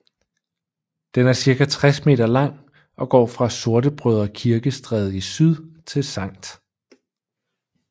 Den er cirka 60 meter lang og går fra Sortebrødre Kirke Stræde i syd til Sct